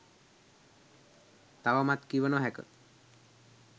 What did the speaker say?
තවමත් කිව නොහැක